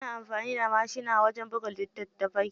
Ana amfani da mashina wajen buga litattafai.